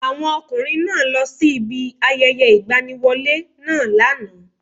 Àwọn ọkùnrin náá lọ sí ibi ayẹyẹ ìgbaniwọlé náà lánàá